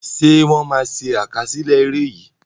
Ṣé wọn má ṣe àkásílẹ́ ère yìí?